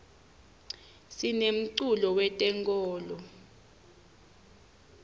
sinemculo we tenkolo